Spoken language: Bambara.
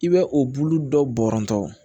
I bɛ o bulu dɔ bɔrɔntɔ